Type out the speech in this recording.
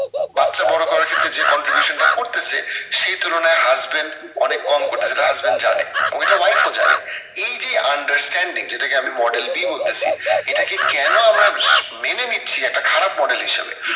বাচ্চা বড়ো করার ক্ষেত্রে যে contribution টা করতেসে সেই তুলনায় husband অনেক কম করতেসে যেটা husband জানে ঐটা wife ও জানে এই যে understanding এটাকে আমি model B বলতেসি এটাকে কেন আমরা মেনে নিচ্ছি একটা খারাপ model হিসাবে